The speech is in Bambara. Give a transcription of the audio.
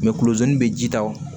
kulozi be ji ta wo